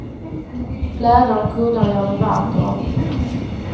Plädar och kuddar gör det varmt och ombonat.